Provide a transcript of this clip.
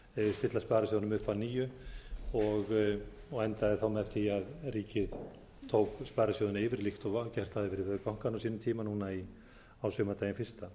stilla sparisjóðunum upp að nýju og endaði með því að ríkið tók sparisjóðina yfir líkt og gert hafði verið við bankana á sínum tíma núna á sumardaginn fyrsta